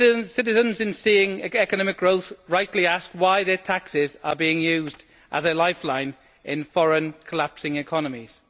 Citizens, in seeing economic growth, rightly ask why their taxes are being used as a lifeline for foreign collapsing economies.